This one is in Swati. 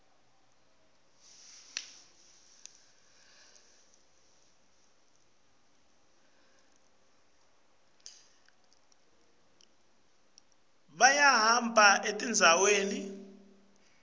nawehla bantfu bayahamba etindzaweni